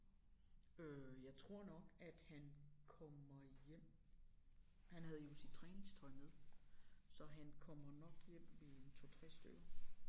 Øh jeg tror nok at han kommer hjem han havde jo sit træningstøj med så han kommer nok hjem ved en 2 3 stykker